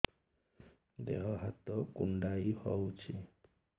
ଦେହ ହାତ କୁଣ୍ଡାଇ ହଉଛି